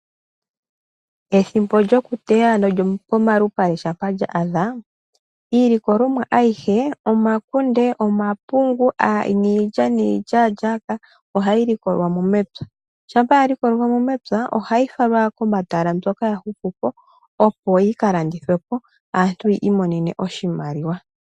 Ethimbo lyoku teya no lyo pomalupale shampa lya adha iilikolomwa ayihe: omakunde, omapungu niilya niilyaalyaaka oha yi likolwa mo mepya, shampa ya likolwa mo mepya oha yi falwa komatala mbyoka ya hupu po opo yi ka landithwepo aantu ya i monene oshimaliwa.